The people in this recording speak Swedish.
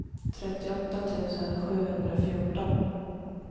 trettioåtta tusen sjuhundrafjorton